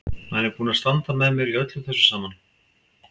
Hann er búinn að standa með mér í þessu öllu saman.